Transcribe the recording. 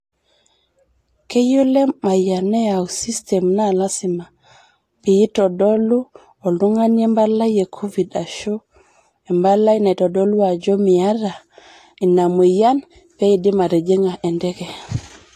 Keyieu Lemayian neyau sistem naa lazima pwitodolu oltungani empalai e covid asho empali naitodolu ajo miata in mueyian peidim atijingá enteke.